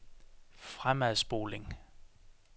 fremadspoling